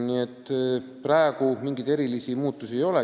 Nii et praegu mingeid erilisi muutusi ei ole.